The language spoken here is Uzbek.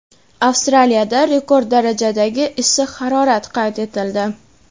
Avstraliyada rekord darajadagi issiq harorat qayd etildi.